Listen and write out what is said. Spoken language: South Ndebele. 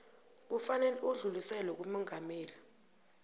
kufanele udluliselwe kumongameli